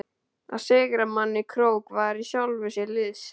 Að sigra mann í krók var í sjálfu sér list.